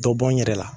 Dɔ bɔ n yɛrɛ la